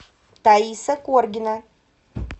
таиса коргина